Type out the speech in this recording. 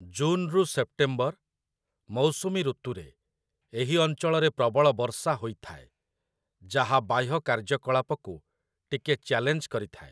ଜୁନ୍‌ରୁ September, ମୌସୁମୀ ଋତୁରେ ଏହି ଅଞ୍ଚଳରେ ପ୍ରବଳ ବର୍ଷା ହୋଇଥାଏ, ଯାହା ବାହ୍ୟ କାର୍ଯ୍ୟକଳାପକୁ ଟିକେ ଚ୍ୟାଲେଞ୍ଜ କରିଥାଏ ।